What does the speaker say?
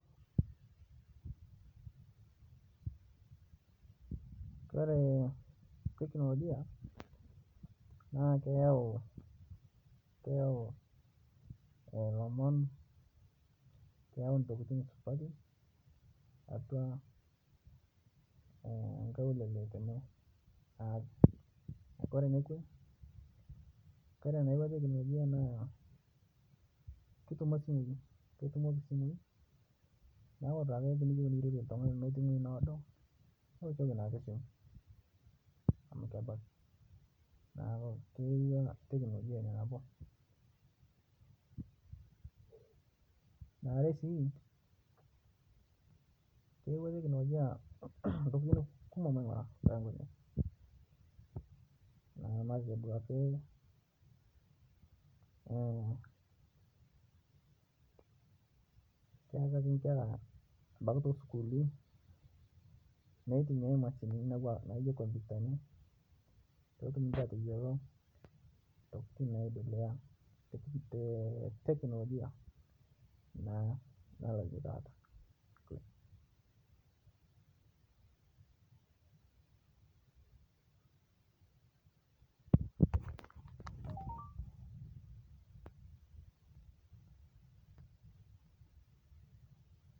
Ore technologia na keyau olomon neyau ntokitin supati atua nkaulele ore kwnanza ebaiko technologia na keyau simui neuataki amu kebak keetae si eyaua technologia ntokitin kumok na matejo ak keaki nkera ebaki tosukulini pitumiai mashinini petum atayiolo ntokitin naendelea naloito taata dukuya[break]